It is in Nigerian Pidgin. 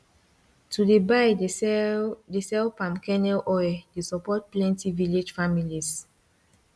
to dey buy dey sell dey sell palm kernel oil dey support plenti village families